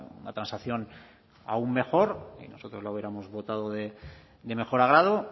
una transacción aún mejor y nosotros la hubiéramos votado de mejor agrado